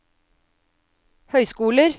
høyskoler